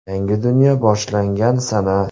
Yangi dunyo boshlangan sana.